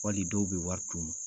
Wali dɔw bɛ wari d'u ma.